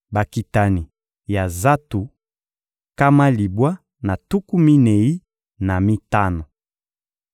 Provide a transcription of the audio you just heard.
Bakitani ya Zatu: nkama libwa na tuku minei na mitano.